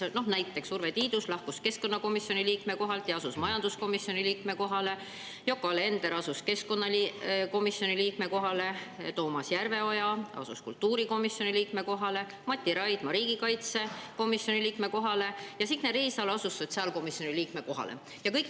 Näiteks, Urve Tiidus lahkus keskkonnakomisjoni liikme kohalt ja asus majanduskomisjoni liikme kohale, Yoko Alender asus keskkonnakomisjoni liikme kohale, Toomas Järveoja asus kultuurikomisjoni liikme kohale, Mati Raidma riigikaitsekomisjoni liikme kohale ja Signe Riisalo sotsiaalkomisjoni liikme kohale.